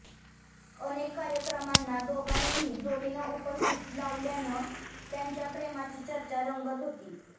अनेक कार्यक्रमांना दोघांनीही जोडीनं उपस्थिती लावल्यानं त्यांच्या प्रेमाची चर्चा रंगत होती